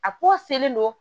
A ko selen don